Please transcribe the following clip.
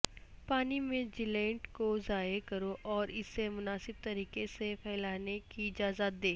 پانی میں جیلینٹ کو ضائع کرو اور اسے مناسب طریقے سے پھیلانے کی اجازت دے